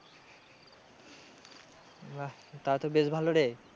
বাহ তাহলে তো বেশ ভালো রে।